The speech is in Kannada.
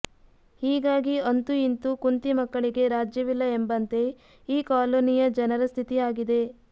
ಹೀಗಾಗಿ ಅಂತೂ ಇಂತು ಕುಂತಿ ಮಕ್ಕಳಿಗೆ ರಾಜ್ಯವಿಲ್ಲ ಎಂಬಂತೆ ಈ ಕಾಲೋನಿಯ ಜನರ ಸ್ಥಿತಿಯಾಗಿದೆ